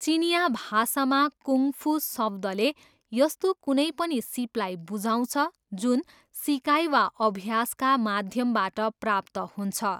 चिनियाँ भाषामा, kung fu शब्दले यस्तो कुनै पनि सिपलाई बुझाउँछ जुन सिकाइ वा अभ्यासका माध्यमबाट प्राप्त हुन्छ।